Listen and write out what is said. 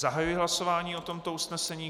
Zahajuji hlasování o tomto usnesení.